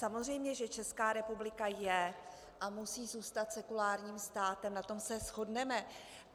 Samozřejmě že Česká republika je a musí zůstat sekulárním státem, na tom se shodneme.